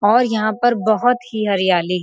और यहाँ पर बहोत ही हरियाली --